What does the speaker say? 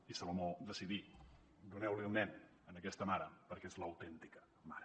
i salomó decidí doneu li el nen a aquesta mare perquè és l’autèntica mare